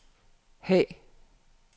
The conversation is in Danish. Haag